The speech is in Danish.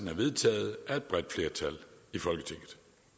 er vedtaget af et bredt flertal